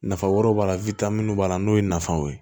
Nafa wɛrɛw b'a la minnu b'a la n'o ye nafaw ye